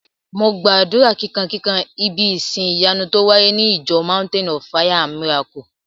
Mo gbàdúrà kíkan kikan ibí ìsin ìyanu tó wáyé ní ìjọ mountain of fire and miracle